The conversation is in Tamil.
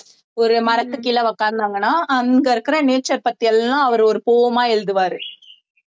ஒரு மரத்துக்கு கீழே உட்கார்ந்தாங்கன்னா அங்க இருக்கிற nature பத்தி எல்லாம் அவர் ஒரு poem எழுதுவாரு